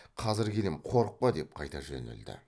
қазір келем қорықпа деп қайта жөнелді